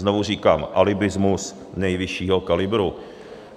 Znovu říkám, alibismus nejvyššího kalibru.